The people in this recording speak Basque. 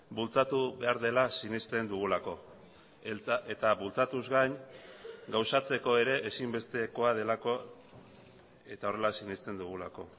bultzatu behar dela sinesten dugulako eta bultzatuz gain gauzatzeko ere ezinbestekoa delako eta horrela sinesten dugulako